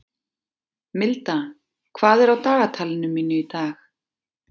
Milda, hvað er á dagatalinu mínu í dag?